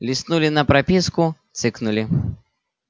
листнули на прописку цыкнули